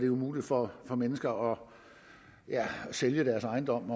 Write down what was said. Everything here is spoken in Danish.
umuligt for mennesker at sælge deres ejendom